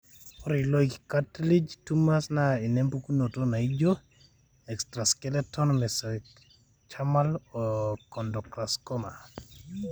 ore iloik cartilage tumors na inepukunoto naijio: Extraskeletal mesenchymal chondrosarcoma .